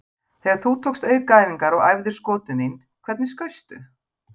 Þegar þú tókst aukaæfingar og æfðir skotin þín, hvernig skaustu?